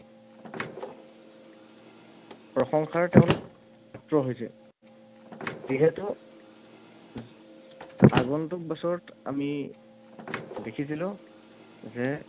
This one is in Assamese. প্ৰশংসাৰ তেওঁলোক পাত্ৰ হৈছে। যিহেতু আগন্তুক বছৰত আমি দেখিছিলো যে